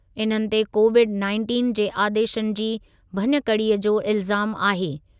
इन्हनि ते Covid nineteen जे आदेशनि जी भञकड़ीअ जो इल्ज़ामु आहे।